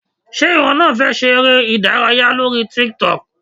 Ṣé ìwọ náà fẹ́ ṣe eré - ìdárayá lórí tiktok?